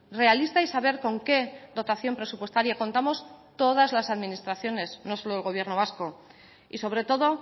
realista y saber con qué dotación presupuestaria contamos todas las administraciones no solo el gobierno vasco y sobre todo